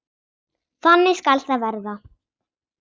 Þannig skal það verða.